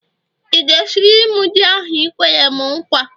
ị ga-esiri m ji ahu i kwere'm nkwa?